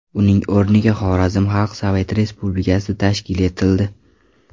Uning o‘rniga Xorazm Xalq Sovet Respublikasi tashkil etildi.